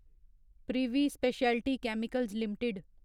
privy speciality chemicals limited